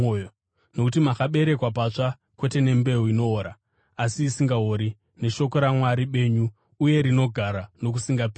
Nokuti makaberekwa patsva, kwete nembeu inoora, asi isingaori, neshoko raMwari benyu uye rinogara nokusingaperi.